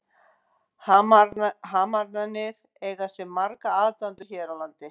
Hamrarnir eiga sér marga aðdáendur hér á landi.